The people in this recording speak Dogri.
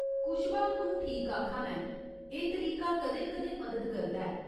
कुश्बा तूं ठीक आखा ना ऐं, एह् तरीका कदें कदें मदद करदा ऐ।